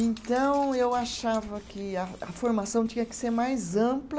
Então, eu achava que a a formação tinha que ser mais ampla